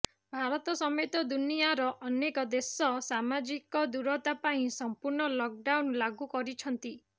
ଭାରତ ସମେତ ଦୁନିଆର ଅନେକ ଦେଶ ସାମାଜିକ ଦୂରତା ପାଇଁ ସମ୍ପୂର୍ଣ୍ଣ ଲକ୍ ଡାଉନ୍ ଲାଗୁ କରିଛନ୍ତି